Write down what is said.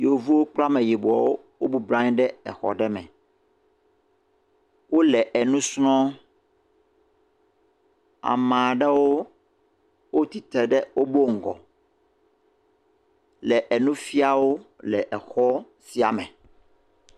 Yevuwo kple Ameyibɔwo wo bɔblɔ anyi ɖe exɔ ɖe me. Wole enu srɔ̃. Ama ɖewo, wotsi tre ɖe wobo ŋgɔ le enu fiawo le exɔ sia me.